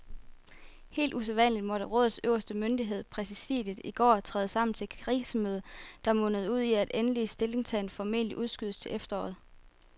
Helt usædvanligt måtte rådets øverste myndighed, præsidiet, i går træde sammen til et krisemøde, der mundede ud i, at endelig stillingtagen formentlig udskydes til efteråret.